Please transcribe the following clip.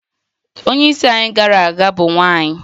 Onye isi anyị gara aga bụ nwanyị